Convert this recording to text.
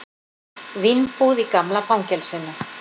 Vínbúð í gamla fangelsinu